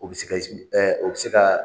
U bi se ka, i sigi o bi se ka